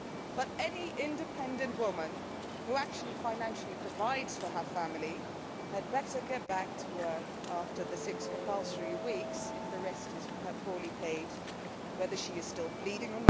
But any independent woman who actually financially provides for her family had better get back to work after the six compulsory weeks if the rest is poorly paid whether or not she is still bleeding